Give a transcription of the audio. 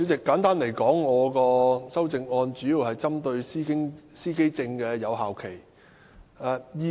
簡單而言，我的修正案主要針對司機證的有效期。